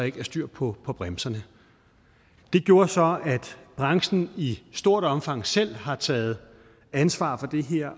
ikke var styr på bremserne det gjorde så at branchen i stort omfang selv har taget ansvar for det her